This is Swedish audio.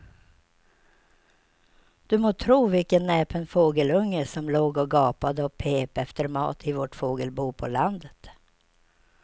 Du må tro vilken näpen fågelunge som låg och gapade och pep efter mat i vårt fågelbo på landet.